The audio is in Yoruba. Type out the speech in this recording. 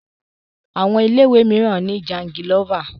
Àwọn ilé ìwé mìíràn ni jangilófà.